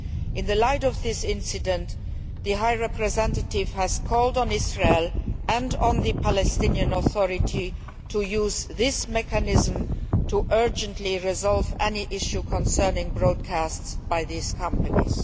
In the light of this incident, the High Representative has called on Israel and on the Palestinian Authority to use this mechanism to urgently resolve any issues concerning broadcasts by these companies.